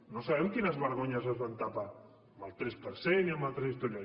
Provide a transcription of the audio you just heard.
no sabem quines vergonyes es van tapar amb el tres per cent i amb altres històries